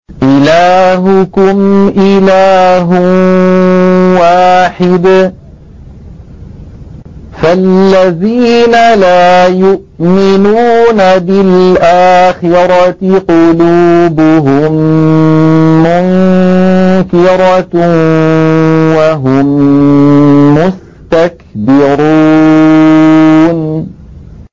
إِلَٰهُكُمْ إِلَٰهٌ وَاحِدٌ ۚ فَالَّذِينَ لَا يُؤْمِنُونَ بِالْآخِرَةِ قُلُوبُهُم مُّنكِرَةٌ وَهُم مُّسْتَكْبِرُونَ